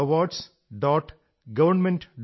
gallantryawards